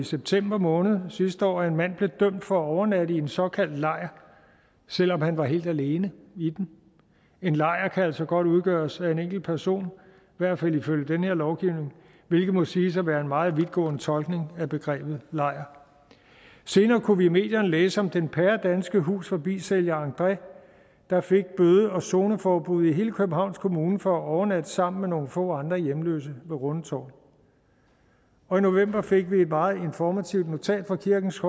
september måned sidste år oplevet at en mand blev dømt for at overnatte i en såkaldt lejr selv om han var helt alene i den en lejr kan altså godt udgøres af en enkelt person i hvert fald ifølge den her lovgivning hvilket må siges at være en meget vidtgående tolkning af begrebet lejr senere kunne vi i medierne læse om den danske hus forbi sælger andré der fik bøde og zoneforbud i hele københavns kommune for at overnatte sammen med nogle få andre hjemløse ved rundetårn og i november fik vi et meget informativt notat fra kirkens